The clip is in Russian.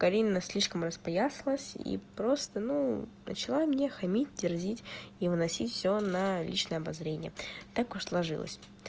карина слишком распоясалась и просто ну начала мне хамить дерзить и выносить всё на личное обозрение так уж сложилось